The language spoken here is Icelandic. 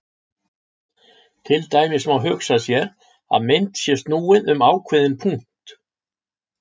Til dæmis má hugsa sér að mynd sé snúið um ákveðinn punkt.